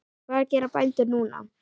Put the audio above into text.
Og hvað gera bændur núna?